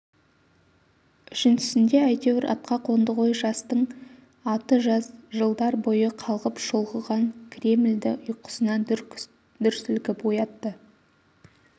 үшіншісінде әйтеур атқа қонды ғой жастың аты жас жылдар бойы қалғып-шұлғыған кремльді ұйқысынан дүр сілкіп оятты